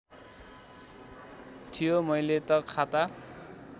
थियो मैले त खाता